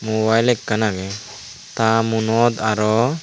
mobile ekkan agey ta muonot aro.